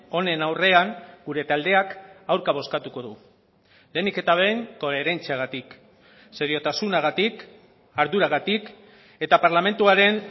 honen aurrean gure taldeak aurka bozkatuko du lehenik eta behin koherentziagatik seriotasunagatik arduragatik eta parlamentuaren